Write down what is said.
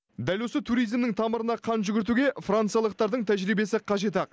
дәл осы туризмнің тамырына қан жүгіртуге франциялықтардың тәжірибесі қажет ақ